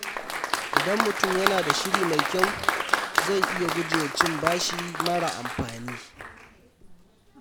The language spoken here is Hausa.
Idan mutum yana da shiri mai kyau, zai iya gujewa cin bashi mara amfani.